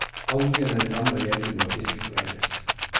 Algene lammer gjellene og fisken kveles.